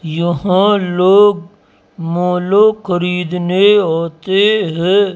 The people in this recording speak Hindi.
यहां लोग मालो खरीदने आते हैं।